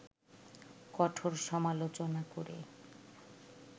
কঠোর সমালোচনা করে